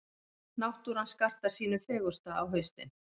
Náttúran skartar sínu fegursta á haustin.